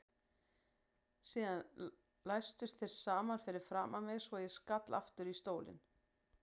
Síðan læstust þeir saman fyrir framan mig svo ég skall aftur í stólinn.